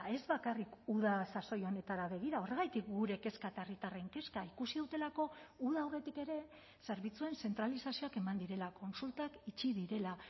ez bakarrik uda sasoi honetara begira horregatik gure kezka eta herritarren kezka ikusi dutelako uda aurretik ere zerbitzuen zentralizazioak eman direla kontsultak itxi direla